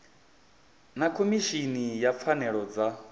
vha khomishini ya pfanelo dza